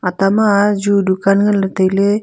ata ma ju dukan ngna ley tai ley.